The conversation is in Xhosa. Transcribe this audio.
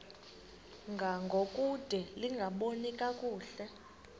ngangokude lingaboni kakuhle